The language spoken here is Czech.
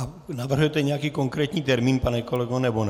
A navrhnete nějaký konkrétní termín, pane kolego, nebo ne?